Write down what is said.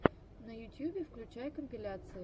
на ютьюбе включай компиляции